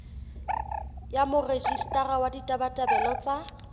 ya morejistara wa ditabatabelo tsa